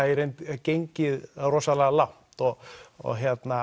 gengið rosalega langt og og